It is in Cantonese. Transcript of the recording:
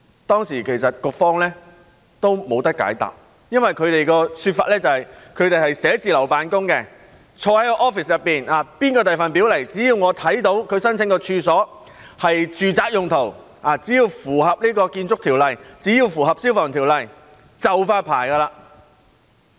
當時局方亦沒有解答，他們的說法是，因為他們是寫字樓辦公的，他們坐在辦公室內，無論誰向他們遞表申請，只要他們看到其申請的處所是住宅用途、符合《建築物條例》和《消防條例》，便會發牌。